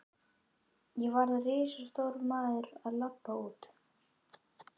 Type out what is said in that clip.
Ég varð risastór maður og labbaði út.